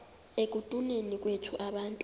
ekutuneni kwethu abantu